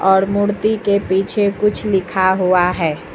और मूर्ति के पीछे कुछ लिखा हुआ है।